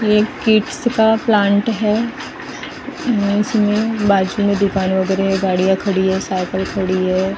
ये किड्स का प्लांट है इसमें बाजू में दुकान वगैरह है गाड़ियां खड़ी है साइकिल खड़ी है।